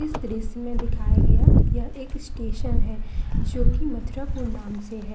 इस दृश्य में दिखाया गया यह एक स्टेशन है जो की मथुरापुर नाम से है।